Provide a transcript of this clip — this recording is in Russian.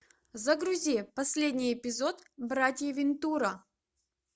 загрузи последний эпизод братья вентура